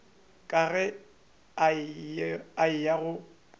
ka ge a eya go